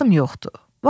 vaxtım yoxdur!